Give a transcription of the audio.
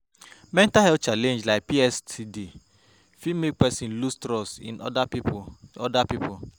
Mental health challenge like PTSD fit make person loose trust in oda pipo oda pipo